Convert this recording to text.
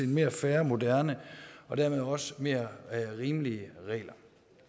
mere fair moderne og dermed også mere rimelige regler